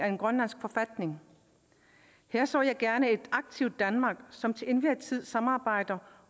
en grønlandsk forfatning her så jeg gerne et aktivt danmark som til enhver tid samarbejder